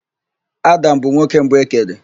Adam bụ nwoke mbụ e kere.